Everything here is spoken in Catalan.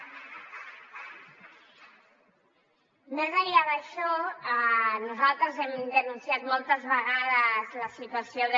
més enllà d’això nosaltres hem denunciat moltes vegades la situació de